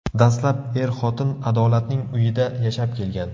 Dastlab er-xotin Adolatning uyida yashab kelgan.